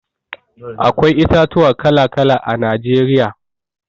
Akwai itatuwa kala-kala a Najeriya.